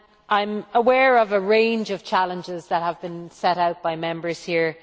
I am aware of a range of challenges that have been set out by Members here.